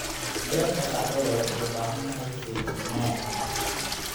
Beerta qaxwada waxay u baahan tahay feejignaan.